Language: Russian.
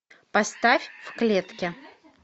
поставь в клетке